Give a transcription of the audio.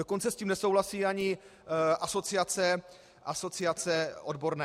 Dokonce s tím nesouhlasí ani asociace odborné.